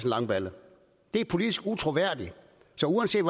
langballe det er politisk utroværdigt så uanset